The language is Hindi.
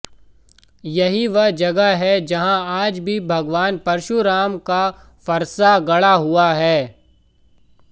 यही वह जगह है जहां आज भी भगवान परशुराम का फरसा गड़ा हुआ है